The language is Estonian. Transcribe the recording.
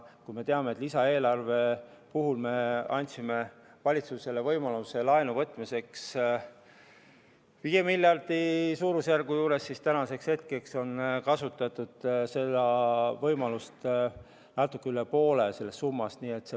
Kui me teame, et lisaeelarve puhul me andsime valitsusele võimaluse võtta laenu suurusjärgus viis miljardit, siis nüüdseks on võetud natuke üle poole sellest summast.